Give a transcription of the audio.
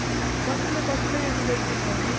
ಬಸಳೆ ಬಸಳೆ ಏನು ಬೆಳ್ದಿಲ್ವ ಅಲ್ಲಿ?